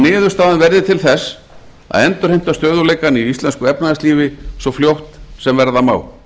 niðurstaðan verði til þess að endurheimta stöðugleikann í íslensku efnahagslífi svo fljótt sem verða má